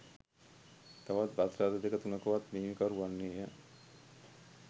තවත් බස් රථ දෙක තුනකවත් හිමිකරු වන්නේය